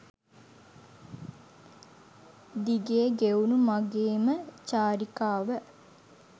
දිගේ ගෙවුණ මගේම චාරිකාව.